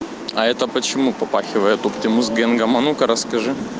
а это почему попахивает оптимус генгом а ну-ка расскажи